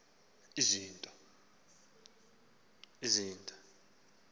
izinto ezintathu umntu